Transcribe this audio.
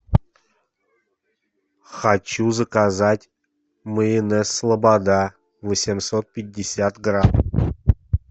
хочу заказать майонез слобода восемьсот пятьдесят грамм